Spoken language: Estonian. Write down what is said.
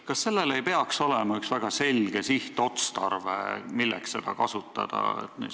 Kas sellel ei peaks olema üks väga selge sihtotstarve, milleks seda võib kasutada?